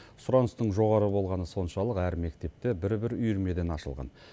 сұраныстың жоғары болғаны соншалық әр мектепте бір бір үйірмеден ашылған